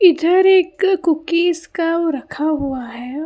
इधर एक कुकीज का रखा हुआ है।